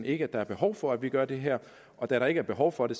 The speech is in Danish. ikke er behov for at vi gør det her og da der ikke er behov for det